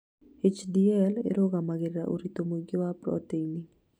HDL ĩrũgamagĩrĩra ũritũ mũingĩ wa proteini